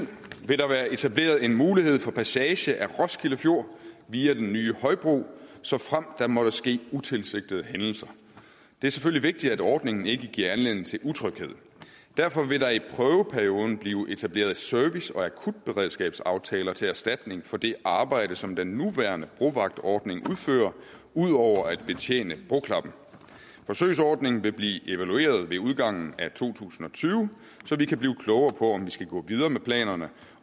vil der være etableret en mulighed for passage af roskilde fjord via den nye højbro såfremt der måtte ske utilsigtede hændelser det er selvfølgelig vigtigt at ordningen ikke giver anledning til utryghed og derfor vil der i prøveperioden blive etableret service og akutberedskabsaftaler til erstatning for det arbejde som den nuværende brovagtordning udfører ud over at betjene broklappen forsøgsordningen vil blive evalueret ved udgangen af to tusind og tyve så vi kan blive klogere på om vi skal gå videre med planerne